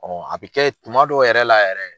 a bɛ kɛ tuma dɔw yɛrɛ la yɛrɛ